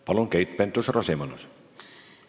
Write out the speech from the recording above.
Palun, Keit Pentus-Rosimannus!